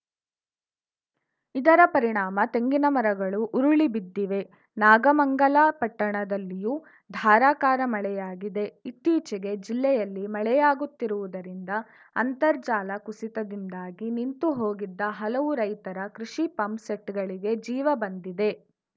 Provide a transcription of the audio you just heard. ಇದರ ಪರಿಣಾಮ ತೆಂಗಿನ ಮರಗಳು ಉರುಳಿ ಬಿದ್ದಿವೆ ನಾಗಮಂಗಲ ಪಟ್ಟಣದಲ್ಲಿಯೂ ಧಾರಾಕಾರ ಮಳೆಯಾಗಿದೆ ಇತ್ತೀಚೆಗೆ ಜಿಲ್ಲೆಯಲ್ಲಿ ಮಳೆಯಾಗುತ್ತಿರುವುದರಿಂದ ಅಂತರ್ಜಾಲ ಕುಸಿತದಿಂದಾಗಿ ನಿಂತುಹೋಗಿದ್ದ ಹಲವು ರೈತರ ಕೃಷಿ ಪಂಪ್‌ ಸೆಟ್‌ಗಳಿಗೆ ಜೀವ ಬಂದಿದೆ